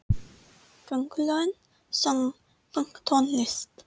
Köngulóin söng pönktónlist!